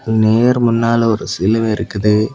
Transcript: நேர் முன்னால ஒரு சிலுவை இருக்குது.